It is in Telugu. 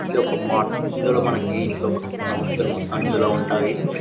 ఇదొక మార్ట్ .ఇందులో మనకి ఇంట్లోకి కావాల్సిన వస్తువులు మొత్తం ఇందులో ఉంటాయి .